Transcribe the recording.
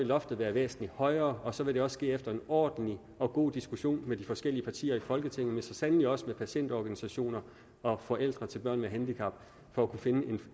loftet være væsentlig højere og så ville det også ske efter en ordentlig og god diskussion med de forskellige partier i folketinget men så sandelig også med patientorganisationer og forældre til børn med handicap for at kunne finde